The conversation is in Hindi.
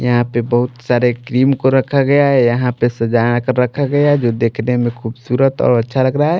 यहाँ पे बहुत सारे क्रीम को रखा गया है यहाँ पे सजा कर रखा गया है जो देखने में खूबसूरत और अच्छा लग रहा है।